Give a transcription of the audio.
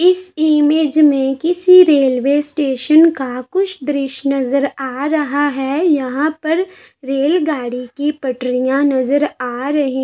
इस इमेज में किसी रेलवे स्टेशन का कुछ दृश्य नजर आ रहा है। यहाँं पर रेलगाड़ी की पटरिया नजर आ रही --